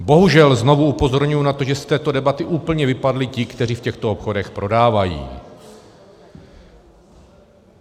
Bohužel znovu upozorňuji na to, že z této debaty úplně vypadli ti, kteří v těchto obchodech prodávají.